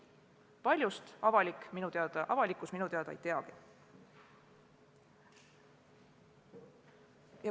Paljust avalikkus minu teada ei teagi.